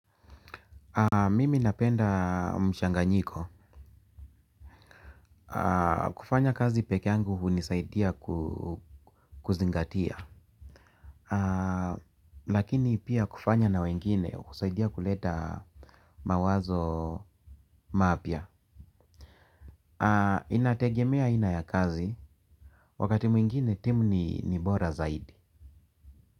Mimi napenda mchanganyiko. Kufanya kazi peke yangu hunisaidia kuzingatia. Lakini pia kufanya na wengine husaidia kuleta mawazo mapya. Inategemea aina ya kazi. Wakati mwingine timu ni bora zaidi.